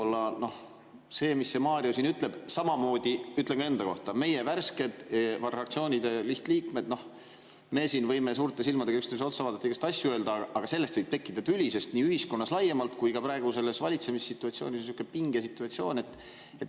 Selle kohta, mida Mario siin ütleb, ja samamoodi ka enda kohta saan öelda: meie, värsked fraktsioonide lihtliikmed, võime siin suurte silmadega üksteisele otsa vaadata ja igasuguseid asju öelda, aga sellest võib tekkida tüli nii ühiskonnas laiemalt kui ka praeguses valitsemissituatsioonis, niisuguses pingesituatsioonis.